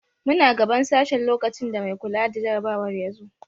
Muna gaban sashen lokacin da mai kula da jarabawar ya zo.